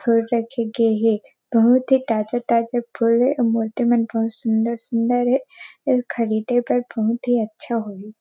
फूल रखे गे हे बहुत ही ताज़ा -ताजा फूल मोटे मन बहुत सुंदर -सुंदर हे अऊर खरीदे पर बहुत ही अच्छा होही।